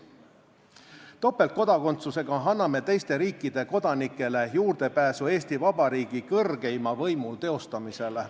Topeltkodakondsusega anname teiste riikide kodanikele juurdepääsu Eesti Vabariigi kõrgeima võimu teostamisele.